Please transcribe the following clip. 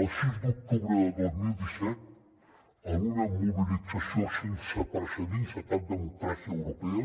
el sis d’octubre de dos mil disset en una mobilització sense precedents a cap democràcia europea